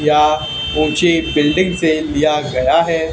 क्या ऊंची बिल्डिंग से लिया गया है।